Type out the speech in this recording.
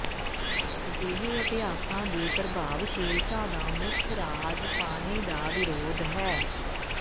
ਅਜਿਹੇ ਅਭਿਆਸਾਂ ਦੀ ਪ੍ਰਭਾਵਸ਼ੀਲਤਾ ਦਾ ਮੁੱਖ ਰਾਜ਼ ਪਾਣੀ ਦਾ ਵਿਰੋਧ ਹੈ